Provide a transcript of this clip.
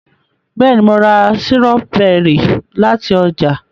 béèni mọ rà Sírọ́bẹ́rì láti oja